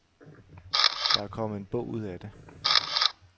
Der er kommet en bog ud af det.